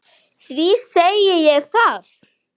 Því segi ég það.